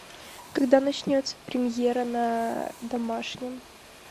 когда начнется премьера на домашнем